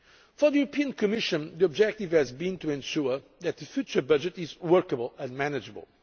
For the Commission, the objective has been to ensure that the future budget is workable and manageable.